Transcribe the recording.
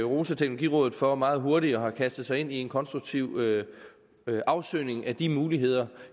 rose teknologirådet for meget hurtigt at have kastet sig ind i en konstruktiv afsøgning af de muligheder